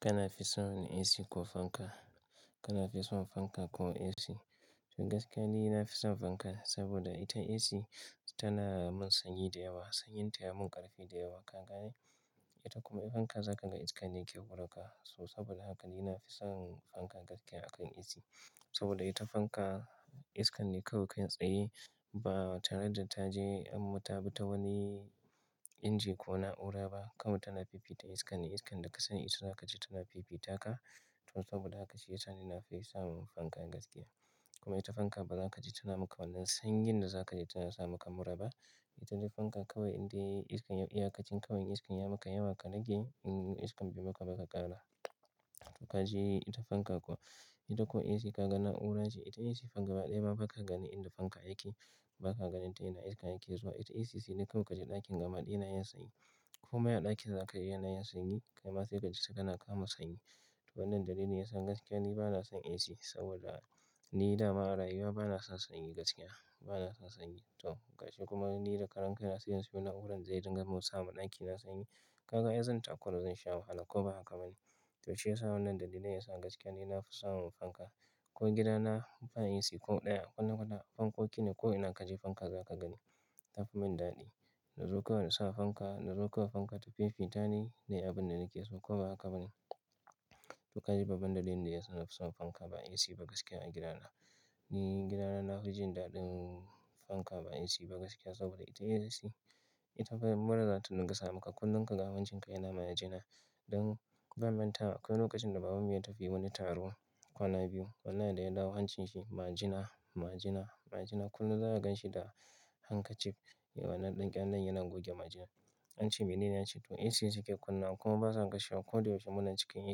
Kana fi son AC ko fanka? Kana fi son fanka ko AC? To gaskiya ni na fi son fanka saboda ita AC tana mun sanyi da yawa. Sanyin ta ya mun ƙarfi da yawa ka gane. Ita kuma ita fanka za ka ga iskan ne ke wurin ka. To saboda haka ni na fi son fanka gaskiya akan AC. Saboda ita fanka iskan ne kawai kai tsaye ba tare da ta je an mutatabi ta wani inji ko na'ura ba. Kawai tana fifita iska ne. Iskan da ka sani ita za ka ji tana fifita ka. To saboda haka shi ya sa ni na fi son fanka gaskiya. Kuma ita fanka ba za ka ji tana maka wannan sanyin da za ka ji tana sa maka mura ba. Ita ta fanka kawai inda iskan, iyakacin kawai iskan ya maka yawa ka rage. In iskan bai maka ba ka ƙara. To ka ji ita fanka kuwa. Ita ko AC ka ga na'ura ce. Ita AC gaba ɗaya ba ka ganin inda fanka yake. Ba ka ganin ta ina iska yake zuwa. Ita AC sai dai kawai ka ji ɗakin gaba ɗaya yana yin sanyi. Komai a ɗakin za kaji ya na yin sanyi, kai ma sai ka ji saka na kama sanyi. To wannan dalili ne ya sa gaskiya ni ba na son AC saboda ni da ma'arayuwa ba na son sanyi gaskiya. Ba na son sanyi. To gashi kuma ni da karan kai na siyan su na'urar zai dinga mun sa mun ɗaki na sanyi. Ka ga aizan ta kura zan sha wahala ko ba haka ba ne? To shi ya sa wannan dalilan ne ya sa gaskiya ni na fi son fanka. Ko gida na ba AC ko ɗaya a kwata kwata fankoki ne ko ina ka je fanka za ka gani. Ta fi mun dadi. Na zo kawai na sa fanka, na zo kawai fanka ta fifita ni ne abin da nake so ko ba haka ba ne? To ka ji babbar dalilin da ya sa na fi son fanka ba AC ba gaskiya a gida na. Ni gida na, na fi jin daɗin fanka ba AC ba gaskiya saboda ita AC, ita bai mura za ta dinga sa maka kullum ka ga hancin ka yana ma yana jina. Don ban manta akwai lokacin da baban mu ya tafi wani taro kwana biyu. Wanna da ya dawo hancin shi ma jina, ma jina, ma jina kullum za ka gan shi da handkerchief da wannan ɗankel len yana goge ma jina. An ce mene ne ya ce, "to AC ce suke kunnawa kuma basa kashewa. Ko da yaushe muna cikin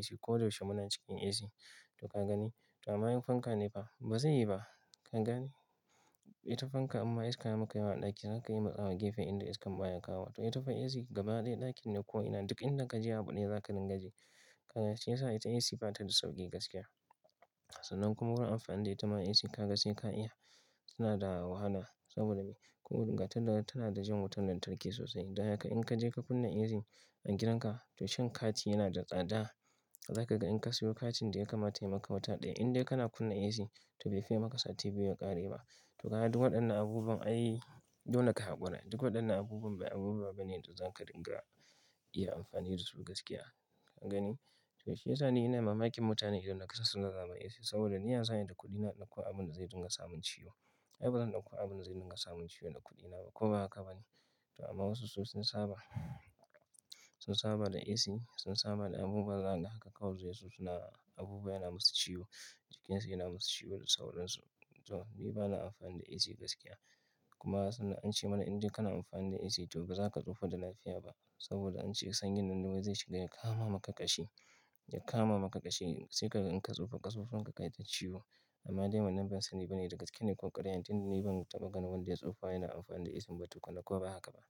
AC, ko da yaushe muna cikin AC." To ka gani? To amma in fanka ne fa ba zai yi ba. Ka gani? Ita fanka imma iska ya maka yawa a ɗaki. Za ka yi matsawa gefe inda iskan baya kawo. To ita fa AC gaba ɗaya ɗakin ne ko ina duk inda ka je a buɗaya za ka dinga ji. Ka gani? Shi ya sa ita AC ba ta da sauƙi gaskiya. Sannan kuma wurin amfani da ita ma AC ka ga sai ka iya. Tana da wahala saboda me? Ko daga ta da tana da jan wutar lantarki sosai. Daya ka in ka je ka kunna AC a gidan ka, to shan kati yana da tsada. Za ka ga in ka siyo katin da ya kama yayi maka wata ɗaya indai kana kunna AC to bai fi yayi maka sati biyu ya ƙare ba. To kaga duk waɗannan abubuwan ai, dole ka haƙura. Duk waɗannan abubuwan bai abubuwa ba ne da za ka dinga iya amfani dasu gaskiya. Ka gani? To shi ya sa ni ina mamakin mutane idan suka san suna zama AC saboda ni ya za ayi da kuɗina in ɗauko abin da zai dinga samun ciwo. Ai ba zan ɗauko abin da zai dinga samun ciwo da kuɗina ba ko ba haka ba ne? To amma wasu sun saba, sun saba da AC, sun saba da abubuwan za kaga haka kawai su suna abubuwa yana musu ciwo, jikinsu yana musu ciwo da sauransu. To ni bana amfani da AC gaskiya. Kuma sannan an ce mana idai kana amfani da AC to ba za ka tsufa da lafiya ba. Saboda an ce sanyin nan dai zai shiga ya kama maka ƙashi, ya kama maka ƙashi sai ka in ka tsufa ƙasusuwan ka kai ta ciwo. Amma dai wannan ban sani ba ne dagaske ne ko ƙaryane. Tunda ni ban taɓa ganin wanda ya tsufa yana amfani da AC ba tukunna ko ba haka ba.